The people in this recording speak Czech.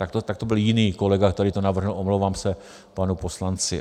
Tak to byl jiný kolega, který to navrhl, omlouvám se panu poslanci.